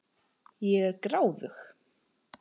Ég er gráðug.